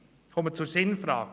Ich komme zur Sinnfrage.